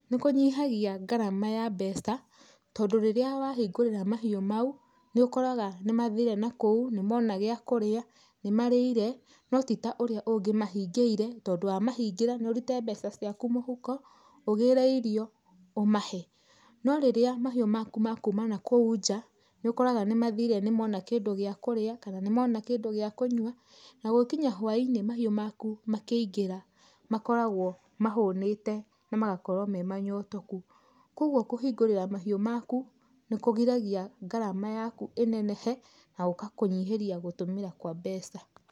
Nĩ kũnyihagia ngarama ya mbeca, tondũ rĩrĩa wahingũrĩra mahiũ mau, nĩ ũkoraga nĩ mathire na kuo, nĩ mona gĩa kũrĩa, nĩ marĩire, no ti ta ũria ũngĩ mahingĩire, tondũ wamahingĩra nĩ ũrute mbeca ciaku mũhuko, ũgĩre irio, ũmahe. No rĩrĩa mahiũ maku makuma na kũu nja, nĩ ũkoraga nĩ mathĩre nĩ mona kĩndũ gĩa kũrĩa kana nĩ mona kĩndũ gĩa kũnywa, na gũgĩkinya hwainĩ mahiũ maku makĩingĩra makoragwo mahũnĩte na magakorwo me manyotũku. Kogwo kũhingũrĩra mahiu maku nĩ kũgiragia ngarama yaku ĩnenehe na gũgakũnyiheria gũtũmĩra kwa mbeca.